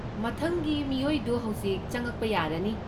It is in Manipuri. ꯃꯊꯪꯒꯤ ꯃꯤꯑꯣꯏꯗꯨ ꯍꯧꯖꯤꯛ ꯆꯉꯛꯄ ꯌꯥꯔꯅꯤ!